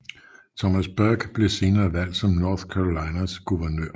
Thomas Burke blev senere valgt som North Carolinas guvernør